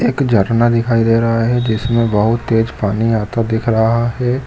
एक झरना दिखाई दे रहा है जिसमें बहुत तेज पानी आता दिख रहा है।